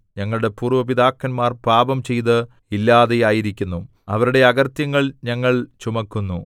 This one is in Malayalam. ഞങ്ങളുടെ പൂര്‍വ്വ പിതാക്കന്മാർ പാപംചെയ്ത് ഇല്ലാതെയായിരിക്കുന്നു അവരുടെ അകൃത്യങ്ങൾ ഞങ്ങൾ ചുമക്കുന്നു